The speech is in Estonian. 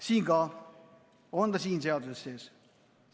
See on ka siin seaduses sees.